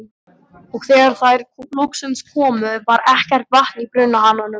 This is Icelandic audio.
Og þegar þær loksins komu, var ekkert vatn í brunahananum.